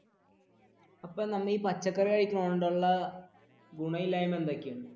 ഇപ്പൊ നമ്മൾ പച്ചക്കറി കഴിച്ചുകൊണ്ടുള്ള ഗുണമില്ലായ്മ എന്തൊക്കെയാണ്?